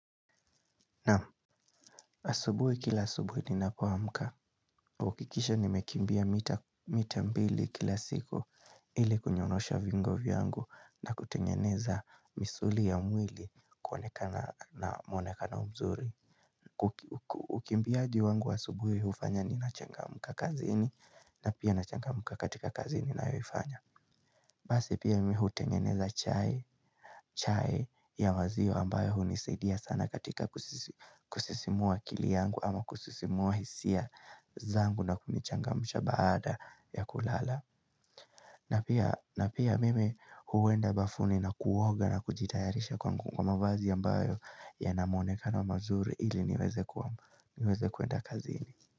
Naam asubuhi kila asubuhi ninapoamka. Huakikisha nimekimbia mita mita mbili kila siku ili kunyorosha viungo vyangu na kutengeneza misuli ya mwili kuonekana na mwonekano mzuri. Ukimbiaji wangu wa asubuhi hufanya ninachangamka kazini na pia nachangamka katika kazini ninayoifanya. Basi pia mimi hutengeneza chai ya wazio ambayo hunisidia sana katika kusisimua akili yangu ama kusisimua hisia zangu na kunichangamsha baada ya kulala na pia mimi huenda bafuni na kuoga na kujitayarisha kwa mavazi ambayo yana muonekano mzuri ili niweze kuenda kazini.